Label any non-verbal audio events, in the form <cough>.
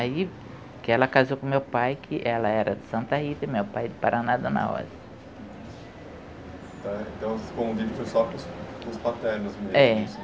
Aí, que ela casou com o meu pai, que ela era de Santa Rita, meu pai era de Paraná, Dona Rosa. Tá, então <unintelligible> só para os os paternos mesmo? É.